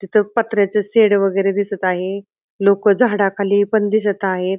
तिथे पत्र्याचे शेड वगेरे दिसत आहे लोक झाडाखाली पण दिसत आहेत.